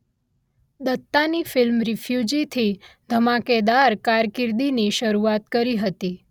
દત્તા ની ફિલ્મ રીફ્યુજીથી ધમાકેદાર કારકિર્દીની શરુઆત કરી હતી